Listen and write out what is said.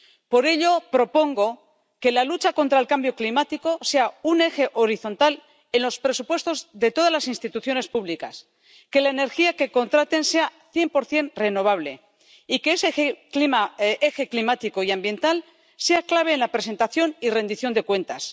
Por ello, propongo que la lucha contra el cambio climático sea un eje horizontal en los presupuestos de todas las instituciones públicas, que la energía que contraten sea cien por cien renovable y que ese eje climático y ambiental sea clave en la presentación y rendición de cuentas.